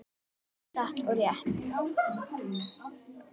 Já, satt og rétt.